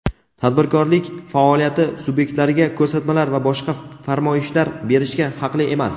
tadbirkorlik faoliyati sub’ektlariga ko‘rsatmalar va boshqa farmoyishlar berishga haqli emas.